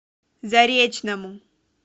заречному